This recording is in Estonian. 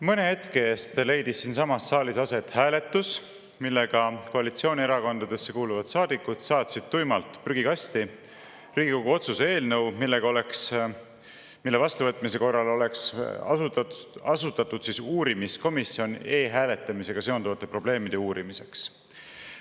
Mõne hetke eest leidis siinsamas saalis aset hääletus, millega koalitsioonierakondadesse kuuluvad saadikud saatsid tuimalt prügikasti Riigikogu otsuse eelnõu, mille vastuvõtmise korral oleks asutatud uurimiskomisjon e-hääletamisega seonduvate probleemide uurimiseks.